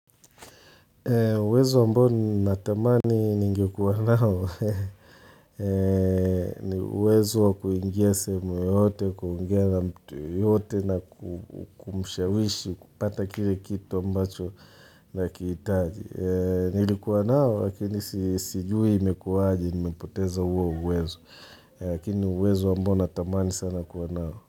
Uwezo ambao natamani ningekuanao, ni uwezo wa kuingia sehemu yoyote, kuongeana mtu yeyote na kumshawishi, kupata kile kitu ambacho nakihitaji Nilikuwa nao, lakini sijui imekuwaje, nimepoteza huo uwezo, lakini ni uwezo ambao natamani sana kuwa nao.